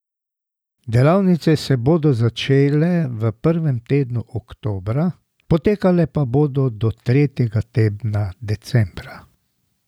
Delavnice se bodo začele v prvem tednu oktobra, potekale pa bodo do tretjega tedna decembra.